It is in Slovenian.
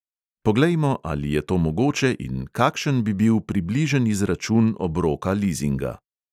Poglejmo, ali je to mogoče in kakšen bi bil približen izračun obroka lizinga.